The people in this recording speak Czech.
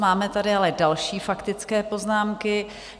Máme tady ale další faktické poznámky.